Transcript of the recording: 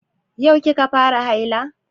Yau ki ka fara haila?